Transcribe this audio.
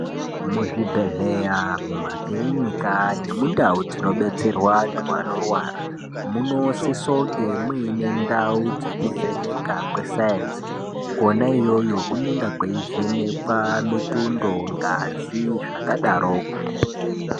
Muzvibhedhleya, mumakiriniki nemundau dzinobetserwa wandu wanorwara, munosise kunge muine ndau dzekuvheneka kwesaenzi kwena iyoyo kunenge kweivhenekwa mitundo, ngazi, zvakadaroko.